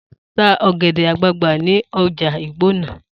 Ta ọ̀gẹ̀dẹ̀ àgbagbà ni ọjà Ìgbònà!